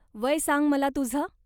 वय सांग मला तुझं.